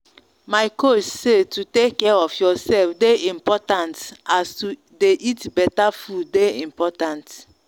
my coach say to take care of yourself dey important like as to dey eat better food dey important